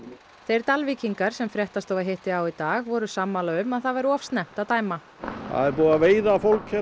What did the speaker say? þeir Dalvíkingar sem fréttastofa hitti á í dag voru sammála um að það væri of snemmt að dæma það er búið að veiða fólk